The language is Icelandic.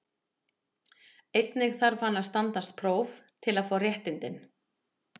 Einnig þarf hann að standast próf til að fá réttindin.